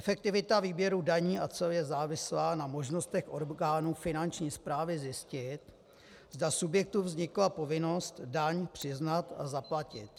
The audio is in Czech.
Efektivita výběru daní a cel je závislá na možnostech orgánů finanční správy zjistit, zda subjektu vznikla povinnost daň přiznat a zaplatit.